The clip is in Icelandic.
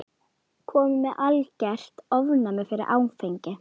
Kominn með algert ofnæmi fyrir áfengi.